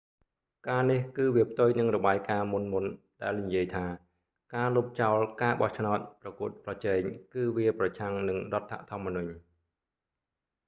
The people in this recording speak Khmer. ការនេះ គឺវាផ្ទុយនឹងរបាយការណ៍មុនៗ ដែលនិយាយថាការលុបចោលការបោះឆ្នោតប្រកួតប្រជែងគឺវាប្រឆាំងនឹងរដ្ឋធម្មនុញ្ញ